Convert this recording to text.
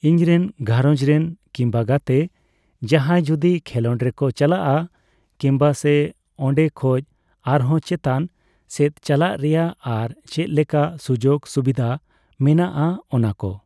ᱤᱧᱨᱮᱱ ᱜᱷᱟᱨᱚᱧᱡᱽ ᱨᱮᱱ ᱠᱤᱢᱵᱟ ᱜᱟᱛᱮ ᱡᱟᱸᱦᱟᱭ ᱡᱚᱫᱤ ᱠᱷᱮᱞᱳᱰ ᱨᱮᱠᱚ ᱪᱟᱞᱟᱜᱼᱟ ᱠᱤᱢᱵᱟ ᱥᱮ ᱚᱱᱰᱮ ᱠᱷᱚᱡ ᱟᱨᱦᱚᱸ ᱪᱮᱛᱟᱱ ᱥᱮᱫ ᱪᱟᱞᱟᱜ ᱨᱮᱭᱟᱜ ᱟᱨ ᱪᱮᱫ ᱞᱮᱠᱟ ᱥᱩᱡᱳᱜ ᱥᱩᱵᱤᱫᱷ ᱢᱮᱱᱟᱜᱼᱟ ᱚᱱᱟ ᱠᱚ